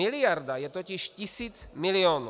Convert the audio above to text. Miliarda je totiž tisíc milionů.